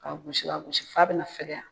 K'a gosi k'a gosi f'a bɛna fɛgɛya.